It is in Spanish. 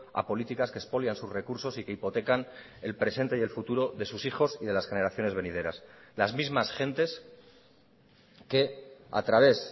a políticas que expolian sus recursos y que hipotecan el presente y el futuro de sus hijos y de las generaciones venideras las mismas gentes que a través